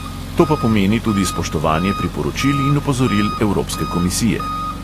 To pa pomeni tudi spoštovanje priporočil in opozoril evropske komisije.